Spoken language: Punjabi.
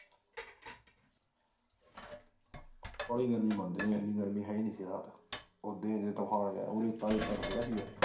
ਕੋਈ ਗਲ ਨੀ ਬਾਬੇ ਐਨੀ ਗਰਮੀ ਹੈ ਹੀ ਨੀ ਸੀ ਯਾਰ ਪੁਰਾਣੇ time inverter ਹੈਗਾ ਸੀ ਯਾਰ